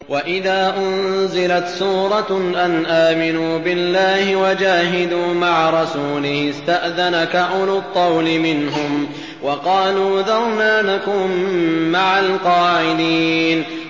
وَإِذَا أُنزِلَتْ سُورَةٌ أَنْ آمِنُوا بِاللَّهِ وَجَاهِدُوا مَعَ رَسُولِهِ اسْتَأْذَنَكَ أُولُو الطَّوْلِ مِنْهُمْ وَقَالُوا ذَرْنَا نَكُن مَّعَ الْقَاعِدِينَ